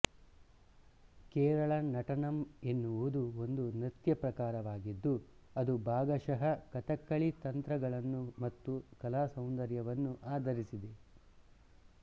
ಕೇರಳ ನಟನಂ ಎನ್ನುವುದು ಒಂದು ನೃತ್ಯ ಪ್ರಕಾರವಾಗಿದ್ದು ಅದು ಭಾಗಶಃ ಕಥಕ್ಕಳಿ ತಂತ್ರಗಳನ್ನು ಮತ್ತು ಕಲಾಸೌಂದರ್ಯವನ್ನು ಆಧರಿಸಿದೆ